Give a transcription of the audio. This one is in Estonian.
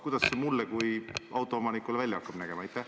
Kuidas see mulle kui autoomanikule välja hakkab nägema?